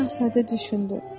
Balaca Şahzadə düşündü.